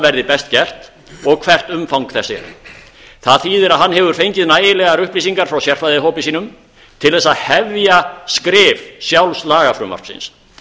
verði best gert og hvert umfang þess er það þýðir að hann hefur fengið nægilegar upplýsingar frá sérfræðihópi sínum til að hefja skrif sjálfs lagafrumvarpsins